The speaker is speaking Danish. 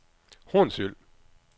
Hornsyld